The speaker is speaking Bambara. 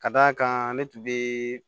Ka d'a kan ne tun bɛ